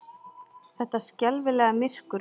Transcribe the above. Þetta skelfilega myrkur!